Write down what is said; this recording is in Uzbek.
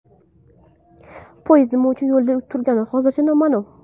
Poyezd nima uchun yo‘lda turgani hozircha noma’lum.